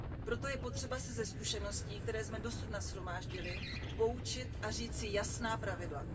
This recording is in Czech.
Proto je potřeba se ze zkušeností, které jsme dosud nashromáždili, poučit a říct si jasná pravidla.